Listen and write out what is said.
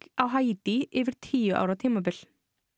á Haítí yfir tíu ára tímabil